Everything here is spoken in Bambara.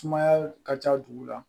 Sumaya ka ca dugu la